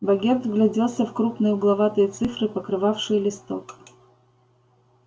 богерт вгляделся в крупные угловатые цифры покрывавшие листок